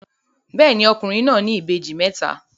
Bẹ́ẹ̀ni, ọkùnrin náà ní ìbejì mẹ́ta.